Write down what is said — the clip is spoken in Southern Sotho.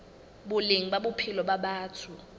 boleng ba bophelo ba batho